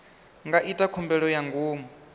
nga ita khumbelo ya ngomu